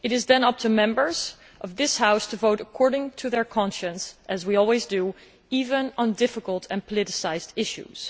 It is then up to Members of this House to vote according to their conscience, as we always do, even on difficult and politicised issues.